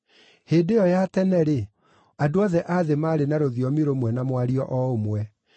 Hĩndĩ ĩyo ya tene-rĩ, andũ othe a thĩ maarĩ na rũthiomi rũmwe na mwario o ũmwe.